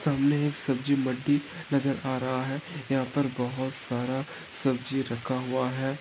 सामने एक सब्जी मंडी नज़र आ रहा है यहा पर बहुत सारा सब्जी रखा हुआ है।